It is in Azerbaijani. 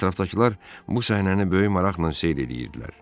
Ətrafdakılar bu səhnəni böyük maraqla seyr eləyirdilər.